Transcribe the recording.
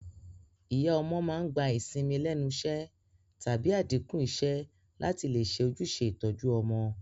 Ìyá ọmọ màá n gba ìsinmi lénusé tàbí àdínkù isé látì lè se ojúse ìtoju ọmọ